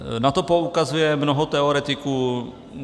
Na to poukazuje mnoho teoretiků.